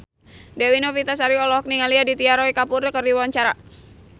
Dewi Novitasari olohok ningali Aditya Roy Kapoor keur diwawancara